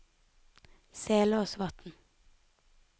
Selåsvatn